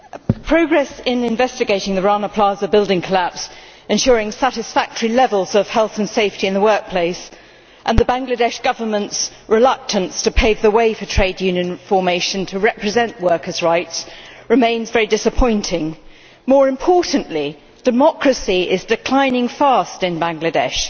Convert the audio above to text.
Madam President, progress in investigating the Rana Plaza building collapse, ensuring satisfactory levels of health and safety in the workplace, and the Bangladesh Government's reluctance to pave the way for trade union formation to represent workers' rights, remains very disappointing. More importantly, democracy is declining fast in Bangladesh.